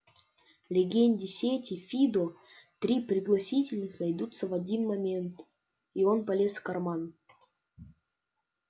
легенде сети фидо три пригласительных найдутся в один момент и он полез в карман